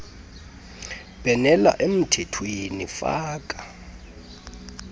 bhenela emthethweni faka